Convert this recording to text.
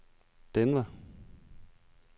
Denver